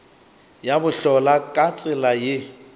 ya bohlola ka tsela ye